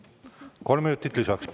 Kolm minutit lisaks.